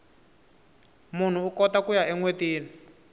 munhu ukota kuya enwetini